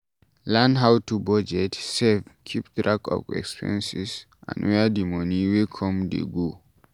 Learn how to budget, save, keep track of expenses and where di money wey come dey go